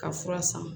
Ka fura san